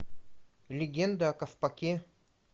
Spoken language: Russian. легенда о ковпаке